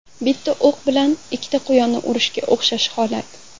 Bitta o‘q bilan ikkita quyonni urishga o‘xshash holat.